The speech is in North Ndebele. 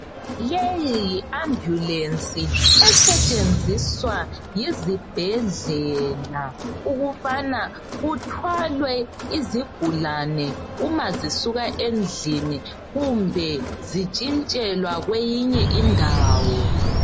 Leyi, yi- ambulance. Esetshenziswa yizibhedlela ukubana kuthwalwe izigulane uma zisuka endlini. Kumbe. zitshintshelwa kwenye indawo.